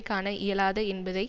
காண இயலாது என்பதை